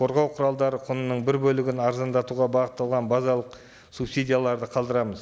қорғау құралдары құнының бір бөлігін арзандатуға бағытталған базалық субсидияларды қалдырамыз